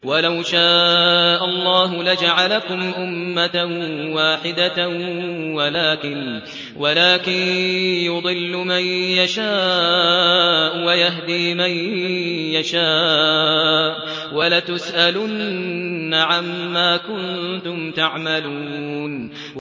وَلَوْ شَاءَ اللَّهُ لَجَعَلَكُمْ أُمَّةً وَاحِدَةً وَلَٰكِن يُضِلُّ مَن يَشَاءُ وَيَهْدِي مَن يَشَاءُ ۚ وَلَتُسْأَلُنَّ عَمَّا كُنتُمْ تَعْمَلُونَ